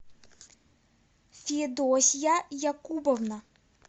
федосья якубовна